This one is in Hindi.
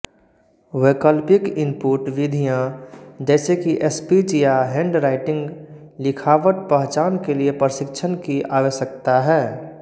वैकल्पिक इनपुट विधियाँ जैसे कि स्पीच या हैंडराईटिंगलिखावट पहचान के लिए प्रशिक्षण की आवश्यकता है